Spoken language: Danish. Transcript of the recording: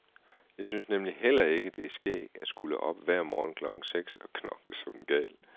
Jeg synes nemlig heller ikke, det er skægt at skulle op hver morgen klokken seks og knokle som en gal.